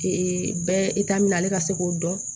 bɛɛ ale ka se k'o dɔn